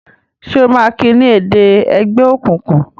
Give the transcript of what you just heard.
ṣe o ma ki ni èdè ègbé òkùnkùn?